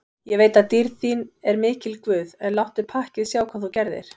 Ég veit að dýrð þín er mikil guð, en láttu pakkið sjá hvað þú gerðir.